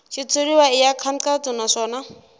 xitshuriwa i ya nkhaqato naswona